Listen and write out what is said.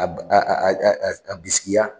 A bi a bisigiya.